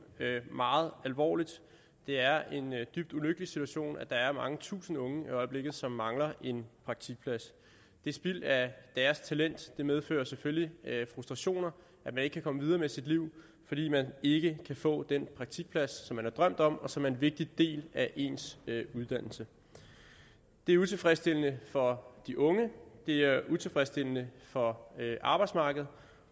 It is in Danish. meget alvorligt det er en dybt ulykkelig situation at der er mange tusinde unge i øjeblikket som mangler en praktikplads det er spild af deres talent og det medfører selvfølgelig frustrationer at man ikke kan komme videre med sit liv fordi man ikke kan få den praktikplads som man har drømt om og som er en vigtig del af ens uddannelse det er utilfredsstillende for de unge det er utilfredsstillende for arbejdsmarkedet